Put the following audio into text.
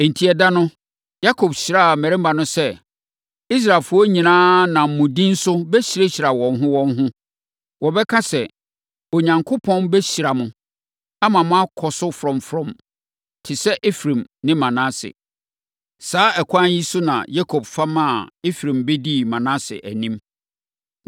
Enti ɛda no, Yakob hyiraa mmarimaa no sɛ, “Israelfoɔ nyinaa nam mo din so bɛhyirahyira wɔn ho wɔn ho. Wɔbɛka sɛ, ‘Onyankopɔn bɛhyirahyira mo, ama moakɔ so frɔmfrɔm te sɛ Efraim ne Manase.’ ” Saa ɛkwan yi so na Yakob fa maa Efraim bɛdii Manase anim.